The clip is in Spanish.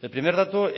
el primer dato